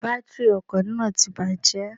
Bátìrì ọkò náà ti bàjé